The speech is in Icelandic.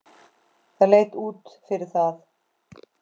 Það leit út fyrir það.